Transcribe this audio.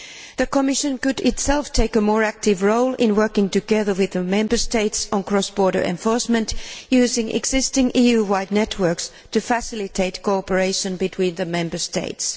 The Commission could itself take a more active role in working together with the Member States on cross border enforcement using existing EU wide networks to facilitate cooperation between the Member States.